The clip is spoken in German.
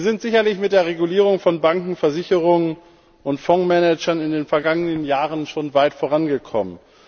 Wir sind sicherlich mit der Regulierung von Banken, Versicherungen und Fondsmanagern in den vergangenen Jahren schon weit vorangekommen.